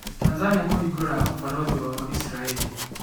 Tanzania kũhingura ũbaruthi wao Isiraĩri